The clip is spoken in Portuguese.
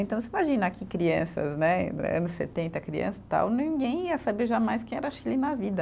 Então, você imagina que, crianças, né, anos setenta, criança e tal, ninguém ia saber jamais o que era Chile na vida.